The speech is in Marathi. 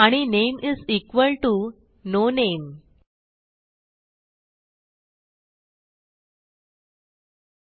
आणि नामे is equal to no name